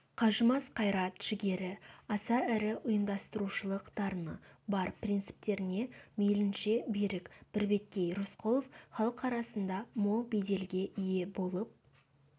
қажымас қайрат-жігері аса ірі ұйымдастырушылық дарыны бар принциптеріне мейлінше берік бірбеткей рысқұлов халық арасында мол беделге ие болып